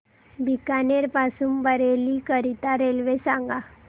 बीकानेर पासून बरेली करीता रेल्वे सांगा